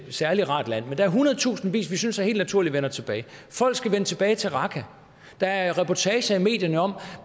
særlig rart land men der er hundredtusindvis vi synes det er helt naturligt vender tilbage folk skal vende tilbage til raqqa der er reportager i medierne om